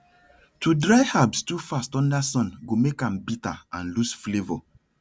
to dry herbs too fast under sun go make am bitter and lose flavour